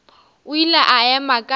o ile a ema ka